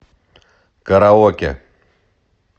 караоке